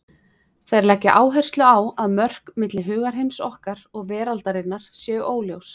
Þeir leggja áherslu á að mörk milli hugarheims okkar og veraldarinnar séu óljós.